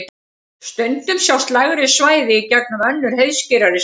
Stundum sjást lægri svæði í gegnum önnur heiðskírari svæði.